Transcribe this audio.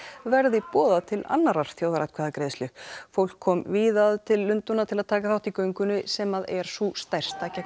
verði boðað til annarrar þjóðaratkvæðagreiðslu fólk kom víða að til Lundúna til að taka þátt í göngunni sem er sú stærsta gegn